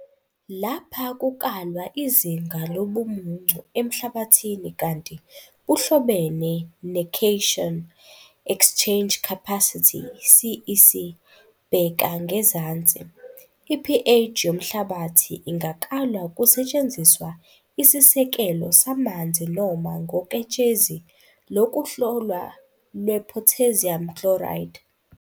Lapha kukalwa izinga lobumuncu emhlabathini kanti buhlobene necation exchange capacity, CEC Bheka ngezansi. I-pH yomhlabathi ingakalwa kusetshenziswa isisekelo samanzi noma ngoketshezi lokuhlola lwepotassium chloride.